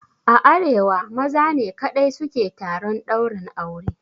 A arewa maza ne kaɗai su ke taron ɗaurin aure.